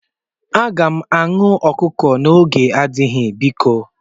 M ga-aṅụ ọkụkọ n'oge adịghị biko